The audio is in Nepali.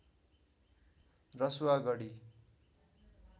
रसुवा गढी